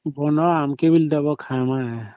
ବନ ଆଂକେ ବି ଦବ ଖାଇବା ପାଇଁ